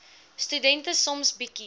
studente soms bietjie